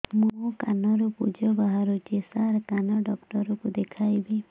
ମୋ କାନରୁ ପୁଜ ବାହାରୁଛି ସାର କାନ ଡକ୍ଟର କୁ ଦେଖାଇବି